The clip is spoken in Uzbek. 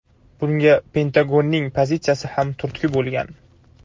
Bunga Pentagonning pozitsiyasi ham turtki bo‘lgan.